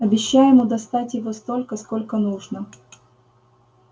обещай ему достать его столько сколько нужно